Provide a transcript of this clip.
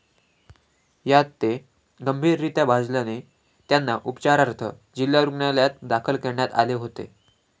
यात ते गंभीररित्या भाजल्याने त्यांना उपचारार्थ जिल्हा रूग्णालयात दाखल करण्यात आले होते.